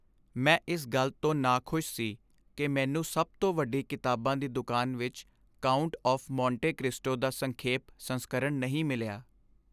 ਮੈਂ ਇਸ ਗੱਲ ਤੋਂ ਨਾਖੁਸ਼ ਸੀ ਕਿ ਮੈਨੂੰ ਸਭ ਤੋਂ ਵੱਡੀ ਕਿਤਾਬਾਂ ਦੀ ਦੁਕਾਨ ਵਿੱਚ "ਕਾਉਂਟ ਆਫ਼ ਮੋਂਟੇ ਕ੍ਰਿਸਟੋ" ਦਾ ਸੰਖੇਪ ਸੰਸਕਰਣ ਨਹੀਂ ਮਿਲਿਆ।